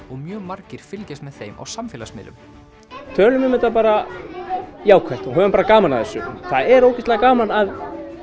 og mjög margir fylgjast með þeim á samfélagsmiðlum tölum um þetta bara jákvætt og höfum bara gaman af þessu það er ógeðslega gaman að